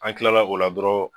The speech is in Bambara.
An kilala o la dɔrɔn